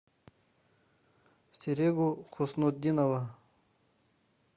серегу хуснутдинова